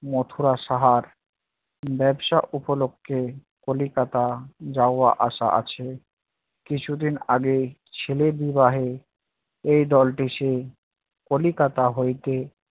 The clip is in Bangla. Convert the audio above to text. মথুরা সাহার ব্যবসা উপলক্ষ্যে কলিকাতা যাওয়া আসা আছে, কিছুদিন আগে ছেলে বিবাহে এই দলটি সেই কলিকাতা হইতে